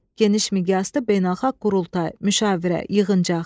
Geniş miqyaslı beynəlxalq qurultay, müşavirə, yığıncaq.